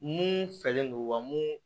Mun fɛlen don wa mun